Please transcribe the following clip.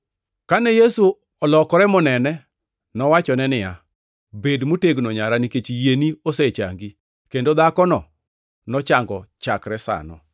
Kane Yesu olokore monene, nowachone niya, “Bed motegno nyara, nikech yieni osechangi.” Kendo dhakono nochango chakre sano.